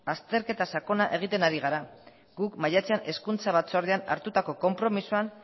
azterketa sakona egiten gara guk maiatzean hezkuntza batzordean hartutako konpromisoan